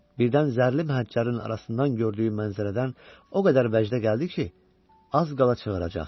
Birdən zərli məhəccərin arasından gördüyü mənzərədən o qədər vəcdə gəldi ki, az qala qışqıracaqdı.